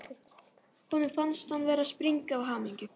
Honum fannst hann vera að springa af hamingju.